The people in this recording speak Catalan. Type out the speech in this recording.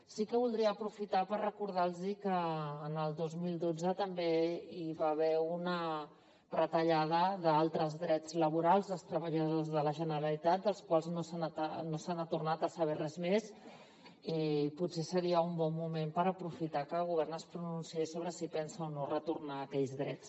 sí que voldria aprofitar per recordar los que el dos mil dotze també hi va haver una retallada d’altres drets laborals dels treballadors de la generalitat dels quals no se n’ha tornat a saber res més i potser seria un bon moment per aprofitar que el govern es pronunciés sobre si pensa o no retornar aquells drets